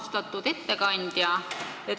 Austatud ettekandja!